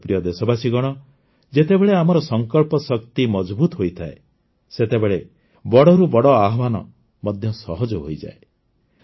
ମୋର ପ୍ରିୟ ଦେଶବାସୀଗଣ ଯେତେବେଳେ ଆମର ସଙ୍କଳ୍ପ ଶକ୍ତି ମଜଭୁତ ହୋଇଥାଏ ସେତେବେଳେ ବଡ଼ରୁ ବଡ଼ ଆହ୍ୱାନ ମଧ୍ୟ ସହଜ ହୋଇଯାଏ